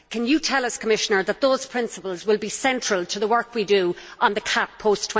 Can you tell us, Commissioner, that those principles will be central to the work we do on the CAP post